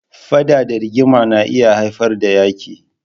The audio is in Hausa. Faɗa da rigima na iya haifar da Yaƙi.